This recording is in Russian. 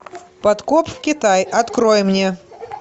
подкоп в китай открой мне